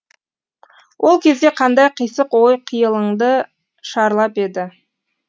ол кезде қандай қисық ой қиялыңды шарлап еді